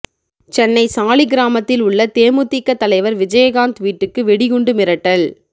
சென்னை சாலிகிராமத்தில் உள்ள தேமுதிக தலைவர் விஜயகாந்த் வீட்டுக்கு வெடிகுண்டு மிரட்டல்